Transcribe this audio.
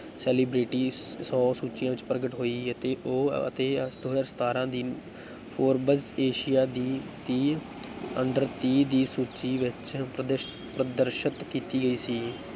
Celebrity ਸੌ ਸੂਚੀਆਂ ਵਿੱਚ ਪ੍ਰਗਟ ਹੋਈ ਹੈ ਅਤੇ ਉਹ ਅਤੇ ਦੋ ਹਜ਼ਾਰ ਸਤਾਰਾਂ ਦੀ ਫੋਰਬਜ਼ ਏਸ਼ੀਆ ਦੀ ਤੀਹ under ਤੀਹ ਦੀ ਸੂਚੀ ਵਿੱਚ ਪ੍ਰਦਸ ਪ੍ਰਦਰਸ਼ਤ ਕੀਤੀ ਗਈ ਸੀ।